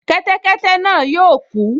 Kẹ́tẹ́kẹ́tẹ́ náà yóò kú